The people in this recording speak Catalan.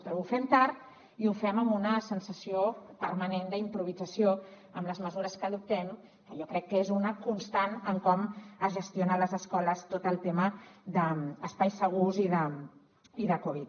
però ho fem tard i ho fem amb una sensació permanent d’improvisació amb les mesures que adoptem que jo crec que és una constant en com es gestiona a les escoles tot el tema d’espais segurs i de covid